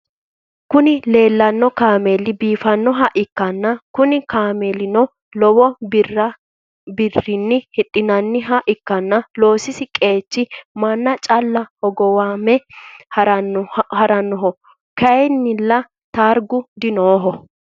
Kuni lelano cammel bifanoha ikana kunni cammelino lowo birrinni hidhinaniha ikana loosisi qechino mannu calla hogowame haranoho kayinila tariga diafirinoho.